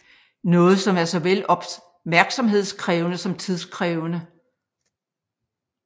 Noget som er såvel opmærksomhedskrævende som tidskrævende